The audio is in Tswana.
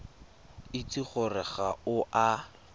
itse gore ga o a